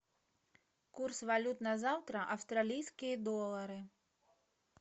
курс валют на завтра австралийские доллары